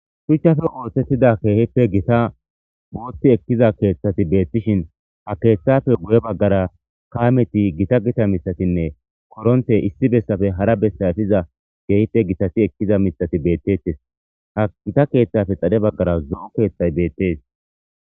Shuchchafe oosettida keehippe gita boothti ekkiza keeththati beettishin ha keeththafe guye baggara kaameti gita gita mitatinne koronte issi bessafe hara bessayfiza geehippe gitasi ekkiza mithati beettettes ha gita keeththafe xale baggara zo7o keeththay beettes.